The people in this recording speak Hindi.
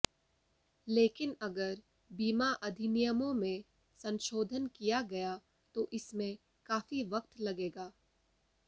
लेकिन अगर बीमा अधिनियमों में संशोधन किया गया तो इसमें काफी वक्त लगेगा